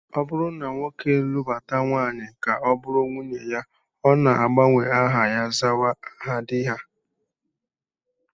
Ọ bụrụ na nwoke lụbata nwaanyị ka ọ bụrụ nwunye ya, ọ na-agbanwe aha ya, zawa aha di ha